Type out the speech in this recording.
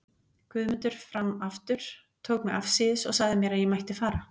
Guðmundur fram aftur, tók mig afsíðis og sagði mér að ég mætti fara.